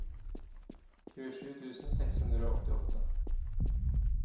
tjuesju tusen seks hundre og åttiåtte